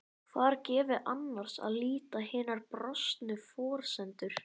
Hvar gefi annars að líta hinar brostnu forsendur?